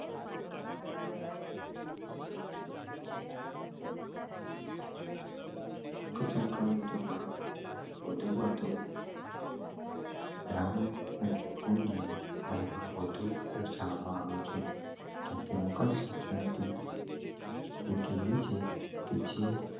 મકર સંક્રાંતિ માં વધુ વધુ દાન ને આવે છે કેમ કે મકર સંક્રાતિ